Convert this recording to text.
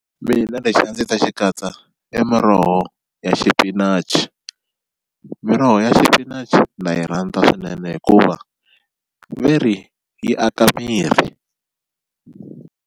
Mina lexi a ndzi ta xi katsa i muroho ya xipinachi miroho ya xipinachi na yi rhandza swinene hikuva ve ri yi aka miri.